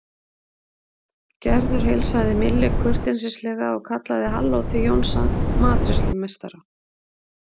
Gerður heilsaði Millu kurteislega og kallaði halló til Jónsa matreiðslumeistara.